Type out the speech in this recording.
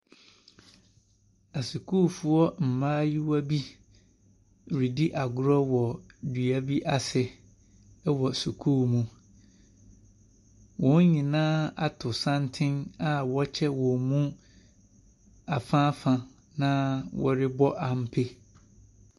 Asukuufoɔ mmayewa bi redi agorɔ wɔ dua bi ase wɔ sukuu mu. Wɔn nyinaa ato santene a wɔakyɛ wɔn mu afaafa, na wɔrebɔ ampe.